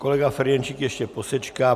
Kolega Ferjenčík ještě posečká.